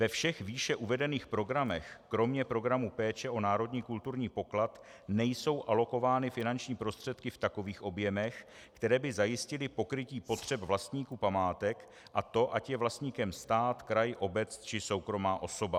Ve všech výše uvedených programech kromě programu péče o národní kulturní poklad nejsou alokovány finanční prostředky v takových objemech, které by zajistily pokrytí potřeb vlastníků památek, a to ať je vlastníkem stát, kraj, obec, či soukromá osoba.